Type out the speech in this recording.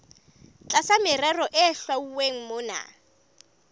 tlasa merero e hlwauweng mona